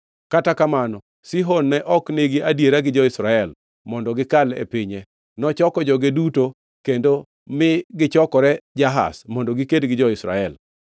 Kata kamano, Sihon ne ok nigi adiera gi jo-Israel mondo gikal e pinye. Nochoko joge duto kendo mi gichokore Jahaz mondo giked gi jo-Israel.